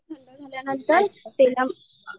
आणि मग ती ठंड झाल्या नंतर तेला